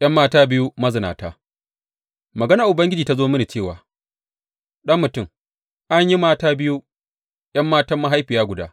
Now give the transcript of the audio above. ’Yan mata biyu mazinata Maganar Ubangiji ta zo mini cewa, Ɗan mutum, an yi mata biyu, ’yan matan mahaifiya guda.